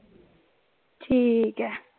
ਠੀਕ ਹੈ।